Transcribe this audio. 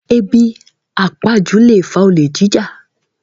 Ebi àpajú lè fa olè jíjà